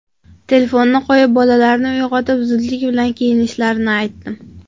Telefonni qo‘yib, bolalarni uyg‘otib, zudlik bilan kiyinishlarini aytdim.